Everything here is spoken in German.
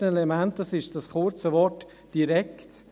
Das erste Element ist das kurze Wort «direkt».